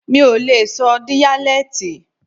Mi ò lè sọ díyálẹ́tì.